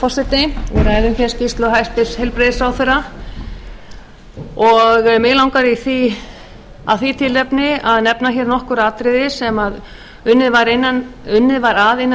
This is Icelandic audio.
við ræðum hér skýrslu hæstvirts heilbrigðisráðherra og mig langar af því tilefni að nefna hér nokkur atriði sem unnið var að innan